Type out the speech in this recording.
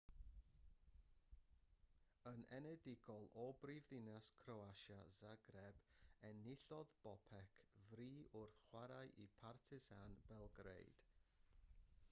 yn enedigol o brifddinas croatia zagreb enillodd bobek fri wrth chwarae i partizan belgrade